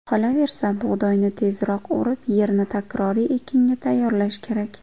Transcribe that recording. Qolaversa, bug‘doyni tezroq o‘rib, yerni takroriy ekinga tayyorlash kerak.